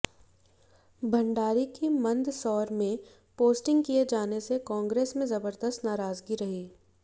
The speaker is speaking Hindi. भंडारी की मंदसौर में पोस्टिंग किए जाने से कांग्रेस में जबरदस्त नाराजगी रही